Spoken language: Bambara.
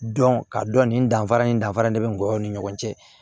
Dɔn ka dɔn nin danfara in danfara de be n ni ɲɔgɔn cɛ